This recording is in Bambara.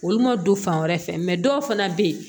Olu ma don fan wɛrɛ fɛ dɔw fana bɛ yen